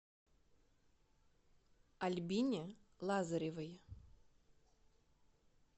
альбине лазаревой